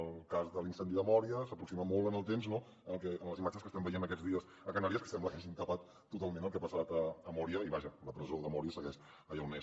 el cas de l’incendi de mória s’aproxima molt en el temps no a les imatges que estem veient aquests dies a canàries que sembla que hagin tapat totalment el que ha passat a mória i vaja la presó de mória segueix allà on és